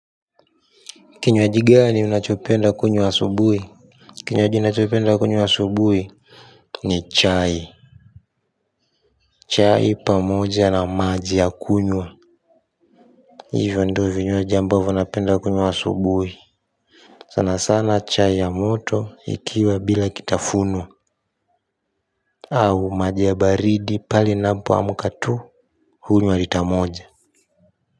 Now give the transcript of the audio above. Kinywaji gani unachopenda kunywa asubuhi kinywaji nachopenda kunywa asubuhi ni chai chai pamoja na maji ya kunywa hivyo ndo vinywaji ambavo napenda kunywa asubuhi sana sana chai ya moto ikiwa bila kitafunwa au maji ya baridi pale napoamka tu hunywa lita moja.